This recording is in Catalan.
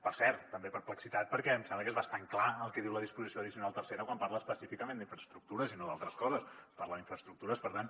per cert també perplexitat perquè em sembla que és bastant clar el que diu la disposició addicional tercera quan parla específicament d’infraestructures i no d’altres coses parla d’infraestructures per tant